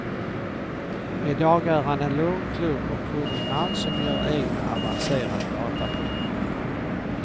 I dag är han en lugn, klok och kunnig man som gör egna avancerade dataprogram.